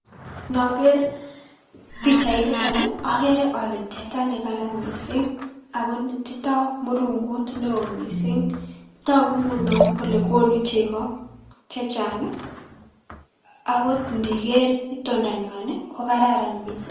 Inoker pichainiton okere ole teta nekaran missing' ako netindo murungut newo missing' togu ngunon kole konu chego chechang' ii ago ndiker itondanyuan kokararan missing'.